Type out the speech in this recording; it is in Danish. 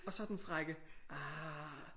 Og så den frække ah